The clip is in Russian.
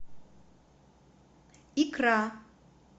икра